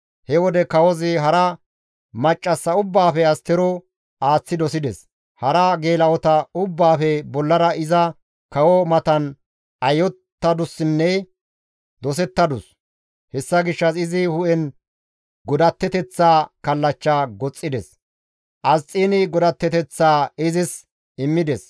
He wode kawozi hara maccassa ubbaafe Astero aaththi dosides; hara geela7ota ubbaafe bollara iza kawo matan ayyottadusinne dosettadus. Hessa gishshas izi hu7en godatteteththa kallachcha goxxides. Asxiini godatteteththaa izis immides.